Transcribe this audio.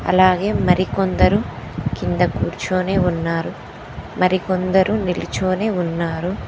అలాగే మరికొందరు కింద కూర్చొనే ఉన్నారు మరి కొందరు నిలుచోని ఉన్నారు.